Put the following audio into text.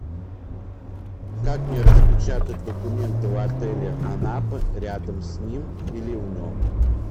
как мне распечатать документы в отеле анапы рядом с ним или в нем